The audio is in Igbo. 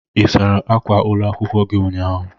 Ị sara ákwà ụlọ akwụkwọ gi ụnyahụ?